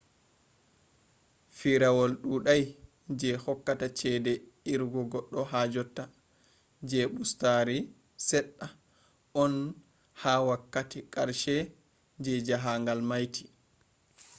firawol ɗuɗai je hokkata ceede irugo goɗɗo ha jotta je ɓustari seɗɗa on ha wakkati karshe je jaahangal mayti